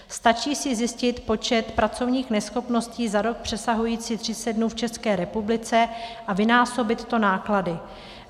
Stačí si zjistit počet pracovních neschopností za rok přesahujících 30 dnů v České republice a vynásobit to náklady.